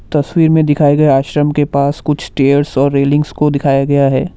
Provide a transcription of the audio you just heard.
तस्वीर में दिखाए गए आश्रम के पास कुछ स्टेयर्स और रेलिंग्स को दिखाया गया है।